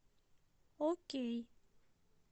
окей